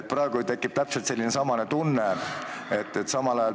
Praegu on mul täpselt samasugune tunne.